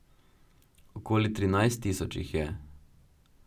Okoli trinajst tisoč jih je.